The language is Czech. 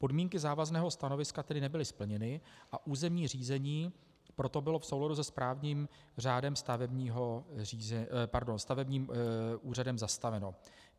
Podmínky závazného stanoviska tedy nebyly splněny a územní řízení proto bylo v souladu se správním řádem stavebním úřadem zastaveno.